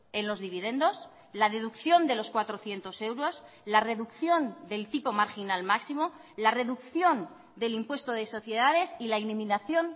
en los dividendos la deducción de los cuatrocientos euros la reducción del tipo marginal máximo la reducción del impuesto de sociedades y la eliminación